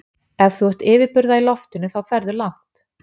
Ef þú ert yfirburða í loftinu þá ferðu langt.